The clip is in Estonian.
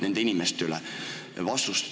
Küsimust ei olnud.